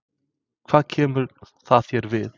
Hvað kemur það þér við?